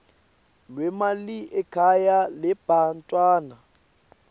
lwemali ekhaya lebantfwana